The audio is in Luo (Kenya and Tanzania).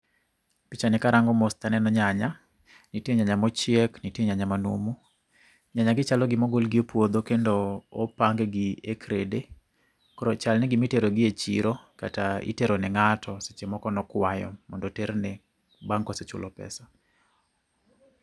Picha ni karango mos taneno nyanya, nitie nyanya mochiek, nitie nyanya manumu. Nyanya gi chalo gimogol gi e puodho kendo opang gi e krede. Koro chalni gimitero gi e chiro, kata itero ne ng'ato seche moko nokwayo mondo oterne, bang' kosechulo pesa